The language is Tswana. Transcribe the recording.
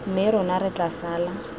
mme rona re tla sala